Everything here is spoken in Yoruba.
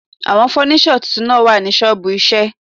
Àwọn fọ́níṣọ̀ tuntun náà wà ní ṣọ́ọ̀bù iṣẹ́ ẹ̀.